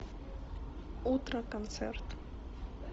утро концерт